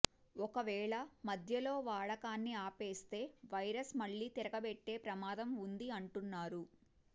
ఒకవేళ మధ్యలో వాడకాన్ని ఆపేస్తే వైరస్ మళ్లీ తిరగబెట్టే ప్రమాదం ఉంది అంటున్నారు